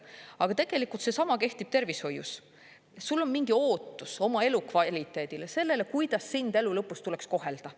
Aga tegelikult seesama kehtib tervishoius, sul on mingi ootus oma elu kvaliteedile, sellele, kuidas sind elu lõpus tuleks kohelda.